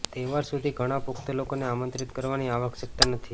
તહેવાર સુધી ઘણા પુખ્ત લોકોને આમંત્રિત કરવાની આવશ્યકતા નથી